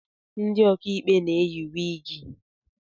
Ndị okaikpe na-eyị wịgị